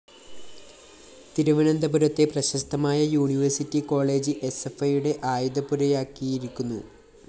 തിരുവനന്തപുരത്തെ പ്രശസ്തമായ university college എസ്എഫ്‌ഐയുടെ ആയുധപ്പുരയാക്കിയിരിക്കുന്നു